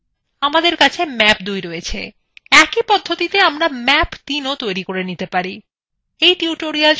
আমাদের কাছে map ২ রয়েছে ! একই পদ্ধতিতে আমরা map ৩ও তৈরি করতে পারি